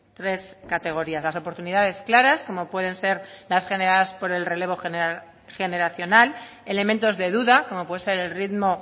tres categorías las oportunidades claras como pueden ser las generadas por el relevo generacional elementos de duda como puede ser el ritmo